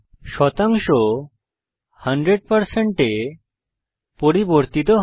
শতাংশ 100 এ পরিবর্তিত হয়